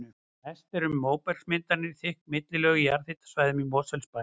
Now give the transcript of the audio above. Mest er um móbergsmyndanir og þykk millilög á jarðhitasvæðunum í Mosfellsbæ.